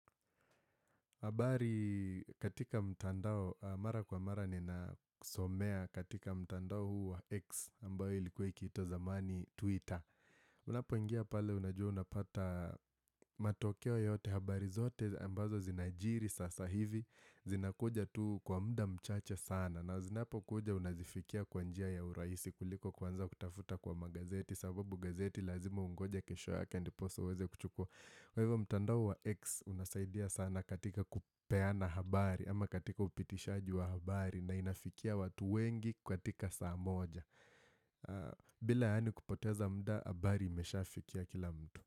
Habari katika mtandao, mara kwa mara ninasomea katika mtandao huu wa X ambayo ilikuwa ikiitwa zamani Twitter. Unapo ingia pale unajua unapata matokeo yote habari zote ambazo zinajiri sasa hivi, zinakuja tu kwa muda mchache sana. Na zinapo kuja unazifikia kwa njia ya urahisi kuliko kuanza kutafuta kwa magazeti, sababu gazeti lazima ungoje kesho ya ndiposa uweze kuchukua Kwa hivyo mtandao wa X unasaidia sana katika kupeana habari ama katika upitishaji wa habari na inafikia watu wengi katika saa moja bila yaani kupoteza muda habari imeshafikia kila mtu.